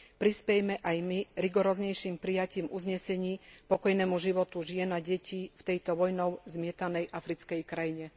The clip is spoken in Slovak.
Prispejme aj my rigoróznejším prijatím uznesení k pokojnému životu žien a detí v tejto vojnou zmietanej africkej krajine.